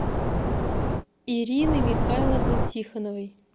ирины михайловны тихоновой